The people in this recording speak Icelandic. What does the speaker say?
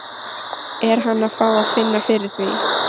Er hann að fá að finna fyrir því?